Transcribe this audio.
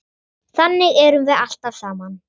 Þannig erum við alltaf saman.